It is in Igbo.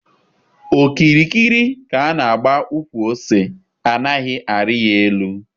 Okirikiri ka a na agba ụkwụ ose anaghị arị ya elu.